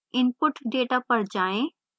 input data पर जाएँ